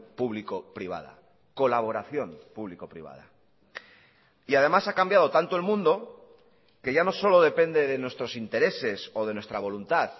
público privada colaboración público privada y además ha cambiado tanto el mundo que ya no solo depende de nuestros intereses o de nuestra voluntad